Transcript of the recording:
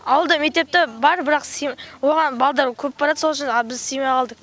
ауылда мектеп те бар бірақ оған балдар көп барады сол үшін біз сыймай қалдық